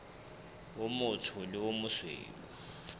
o motsho le o mosweu